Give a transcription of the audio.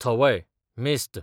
थवय, मेस्त